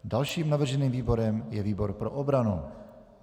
Dalším navrženým výborem je výbor pro obranu.